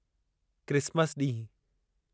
Christmas ॾींहुं